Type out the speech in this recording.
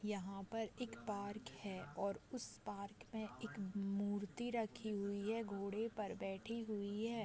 यहाँ पर एक पार्क है और उस पार्क में एक मूर्ति रखी हुई है। घोड़े पर बैठी हुई है।